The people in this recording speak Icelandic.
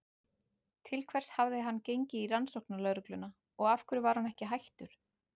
Til hvers hafði hann gengið í Rannsóknarlögregluna og af hverju var hann ekki hættur?